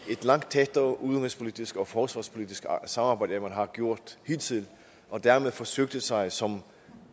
langt tættere udenrigspolitisk og forsvarspolitisk samarbejde end man har gjort hidtil og dermed forsøgte sig som